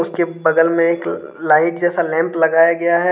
उसके बगल में एक लाइट जैसा लैंप लगाया गया है।